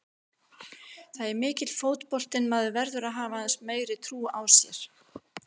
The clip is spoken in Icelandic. Það er mikill fótbolti en menn verða að hafa aðeins meiri trú á sér.